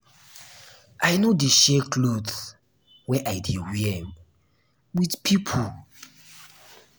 i no dey share clothe wey i dey wear um wit pipo.